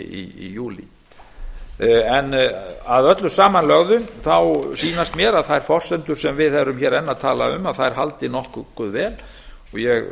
í júlí að öllu samanlögðu sýnast mér að þær forsendur sem við erum hér enn að tala um haldi nokkuð vel og ég